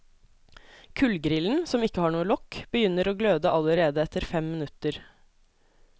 Kullgrillen, som ikke har noe lokk, begynner å gløde allerede etter fem minutter.